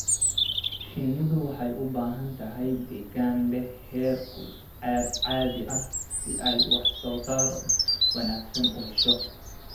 Shinnidu waxay u baahan tahay deegaan leh heerkul caadi ah si ay wax soo saar wanaagsan u hesho.